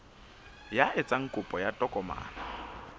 ya etsang kopo ya tokomane